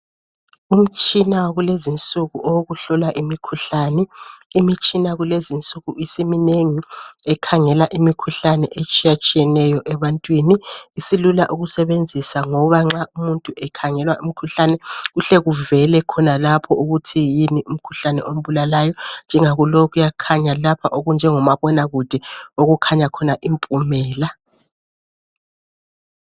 Umtshina wakulezinsuku owowkuhlola imkhuhlani. Imitshina kulezinsuku isimnengi ekhangela imikhuhlane etshiyatshiyeneyo. Isilula ukusebenzisa ngoba nxa umuntu ekhangela umkhuhlani, kuhle kuvele khonalapho ukuthi yini umkhuhlani ombulalayo. Njengakulowu kuyakhanya lapha okunjengomabonakude okukhanya khona impumela.